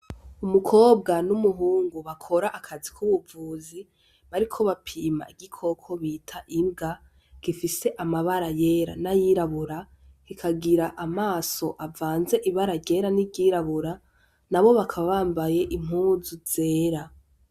Umukobwa n'umuhungu bakora akazi k'ubuvuzi bariko bapima igikoko bita imbwa, gifise amabara yera n'ayirabura kikagira amaso avanze ibara ryera n'iryirabura nabo bakaba bambaye impuzu zera.